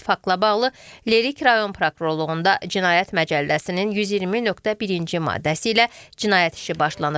Faktla bağlı Lerik rayon Prokurorluğunda Cinayət Məcəlləsinin 120.1-ci maddəsi ilə cinayət işi başlanıb.